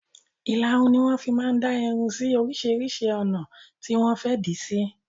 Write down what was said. Ìlarun ni wọn fi máa ń dá irun sì oríṣiríṣi ọ̀nà tí wọn fẹ di sí.